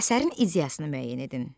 Əsərin ideyasını müəyyən edin.